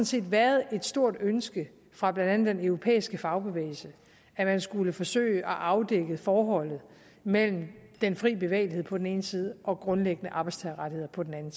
set har været et stort ønske fra blandt andet den europæiske fagbevægelse at man skulle forsøge at afdække forholdet mellem den frie bevægelighed på den ene side og grundlæggende arbejdstagerrettigheder på den anden